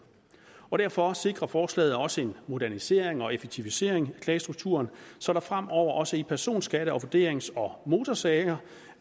og derfor sikrer forslaget også en modernisering og effektivisering af klagestrukturen så der fremover også i personskatte vurderings og motorsager